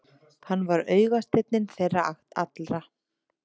Hann var augasteinninn þeirra allra.